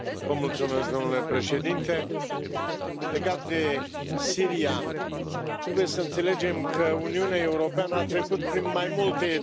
Doamna președintă, legat de Siria trebuie să înțelegem că Uniunea Europeană a trecut prin mai multe etape.